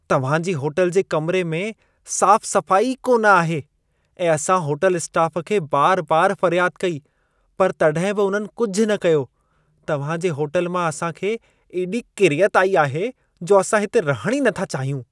तव्हां जी होटल जा कमिरे में साफ-सफाई ई कोन आहे ऐं असां होटल स्टाफ खे बार-बार फरियाद कई, पर तॾहिं बि उन्हनि कुझि न कयो। तव्हां जे होटल मां असां खे एॾी किरियत आई आहे, जो असां हिते रहण ई नथा चाहियूं।